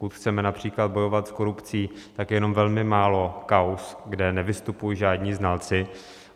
Pokud chceme například bojovat s korupcí, tak je jenom velmi málo kauz, kde nevystupují žádní znalci.